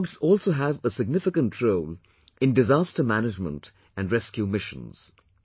Dogs also have a significant role in Disaster Management and Rescue Missions